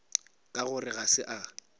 ka gore ga se a